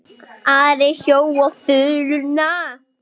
Ari hjó á þuluna.